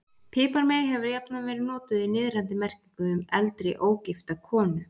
Piparmey hefur jafnan verið notað í niðrandi merkingu um eldri, ógifta konu.